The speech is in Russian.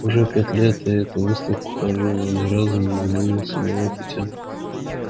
уже пять лет на эту выставку хожу но ни разу не задумывался на эту тему